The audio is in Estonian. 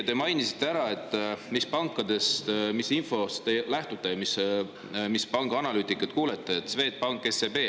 Te mainisite ära, mis pankade infost te lähtute ja mis pangaanalüütikuid kuulate, et Swedbank ja SEB.